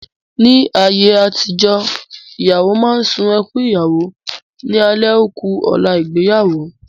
Ní àyé àtijọ́, ìyàwó máa sun ẹkún Ìyàwó ní alẹ́ ó ku ọ̀la ìgbéyàwó.